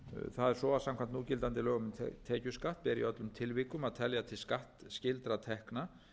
það er svo að samkvæmt núgildandi lögum um tekjuskatt er í öllum tilvikum að telja til skattskylda tekna